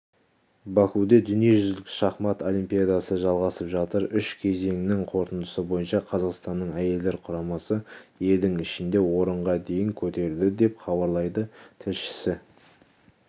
бакуде дүниежүзілік шахмат олимпиадасы жалғасып жатыр үш кезеңнін қорытындысы бойынша қазақстанның әйелдер құрамасы елдің ішінде орынға дейін көтерілді деп хабарлайды тілшісі